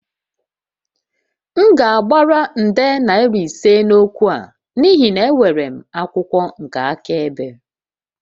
M ga-agbara nde naira ise n'okwu a n'ihi na enwere m akwụkwọ nke akaebe